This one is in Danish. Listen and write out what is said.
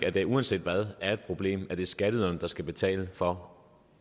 at det uanset hvad er et problem at det er skatteyderne der skal betale for